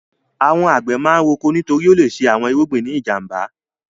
Àwọn àgbẹ̀ máa ń roko nítorí ó le ṣe àwọn irúgbìn ní ìjàm̀ba.